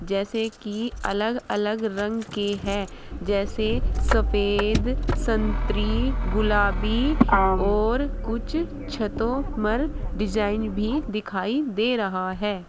जैसे कि अलग अलग रंग के है जैसे सफेद संत्री गुलाबी और कुछ छतों मर डिजाइन भी दिखाई दे रहा है।